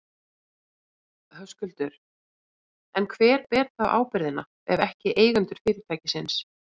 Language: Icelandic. Höskuldur: En hver ber þá ábyrgðina, ef ekki eigendur fyrirtækisins?